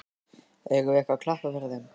Eigum við ekki að klappa fyrir þeim?